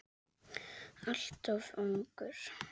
Alltof ungur.